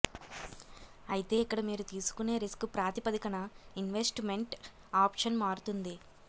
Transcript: అయితే ఇక్కడ మీరు తీసుకునే రిస్క్ ప్రాతిపదికన ఇన్వెస్ట్మెంట్ ఆప్షన్ మారుతుంది